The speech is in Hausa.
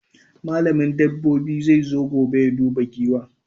Malamin dabobi zai zo gobe ya duba Giwan